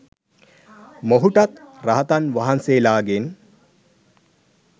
මොහුටත් රහතන් වහන්සේලාගෙන්